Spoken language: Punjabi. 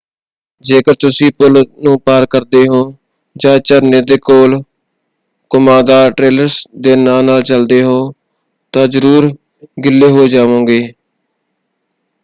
ਜੇਕਰ ਤੁਸੀਂ ਪੁੱਲ ਨੂੰ ਪਾਰ ਕਰਦੇ ਹੋ ਜਾਂ ਝਰਨੇ ਦੇ ਕੋਲ ਘੁੰਮਾਦਾਰ ਟ੍ਰੇਲਸ ਦੇ ਨਾਲ-ਨਾਲ ਚਲਦੇ ਹੋ ਤਾਂ ਜ਼ਰੂਰ ਗਿੱਲੇ ਹੋ ਜਾਵੋਗੇ।